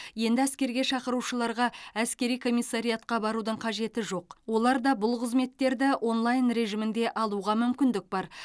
енді әскерге шақырылушыларға әскери комиссариатқа барудың қажеті жоқ олар да бұл қызметтерді онлайн режимінде алуға мүмкіндік бар